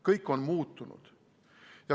Kõik on muutunud.